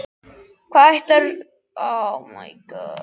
Hvað ætlarðu svo sem að gera með það, sagði hún.